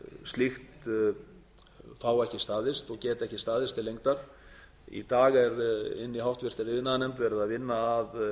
slíkt fái ekki staðist og geti ekki staðist til lengdar í dag er í háttvirtri iðnaðarnefnd verið að vinna að